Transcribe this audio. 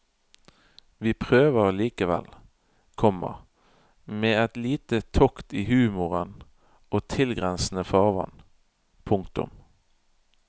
Vi prøver likevel, komma med et lite tokt i humoren og tilgrensende farvann. punktum